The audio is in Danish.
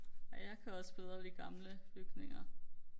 ej jeg kan også bedre lide gamle bygninger